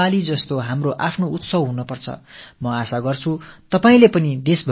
தீபாவளியைப் போல இந்தத் திருநாளை நாம் நமது பண்டிகையாகக் கொண்டாட வேண்டும்